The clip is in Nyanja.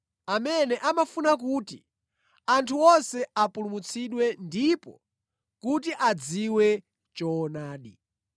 amene amafuna kuti anthu onse apulumutsidwe ndipo kuti adziwe choonadi.